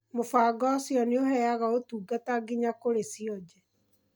Mũbango ũcio nĩũheyaga ũtungata nginya kũrĩ cionje.